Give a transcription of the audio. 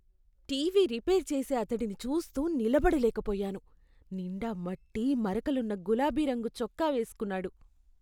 TV repair చేసే అతడిని చూస్తూ నిలబడలేకపోయాను. నిండా మట్టి మరకలున్న గులాబి రంగు చొక్కా వేసుకున్నాడు.